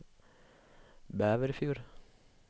Bæverfjord